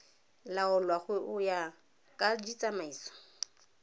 laolwa go ya ka ditsamaiso